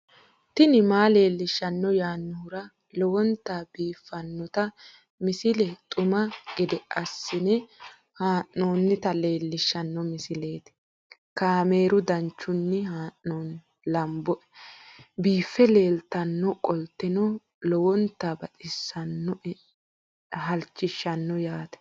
tini maa leelishshanno yaannohura lowonta biiffanota misile xuma gede assine haa'noonnita leellishshanno misileeti kaameru danchunni haa'noonni lamboe biiffe leeeltannoqolten lowonta baxissannoe halchishshanno yaate